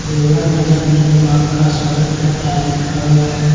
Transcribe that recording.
देवघर नगर निगम आपका स्वागत करता है लिखा हुआ है।